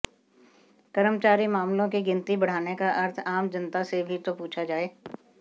कर्मचारी मामलों की गिनती बढ़ाने का अर्थ आम जनता से भी तो पूछा जाए